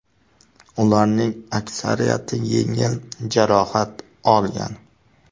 Ularning aksariyati yengil jarohat olgan.